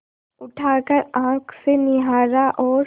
उठाकर आँख से निहारा और